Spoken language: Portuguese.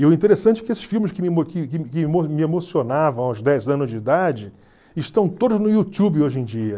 E o interessante é que esses filmes que me me emocionavam aos dez anos de idade estão todos no YouTube hoje em dia.